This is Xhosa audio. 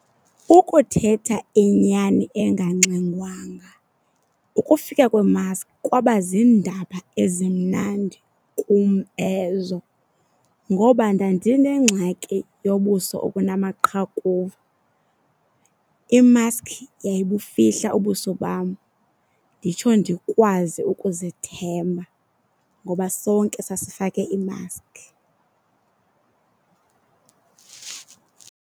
Ukuthetha inyani engangxengwanga ukufika kweemaski kwaba ziindaba ezimnandi kum ezo ngoba ndandinengxaki yobuso obunamaqhakuva. Imask yayibufihla ubuso bam nditsho ndikwazi ukuzithemba ngoba sonke sasifake iimaski.